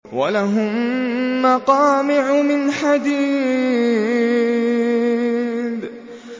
وَلَهُم مَّقَامِعُ مِنْ حَدِيدٍ